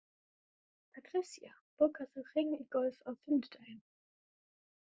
Patrisía, bókaðu hring í golf á fimmtudaginn.